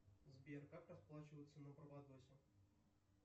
сбер как расплачиваться на барбадосе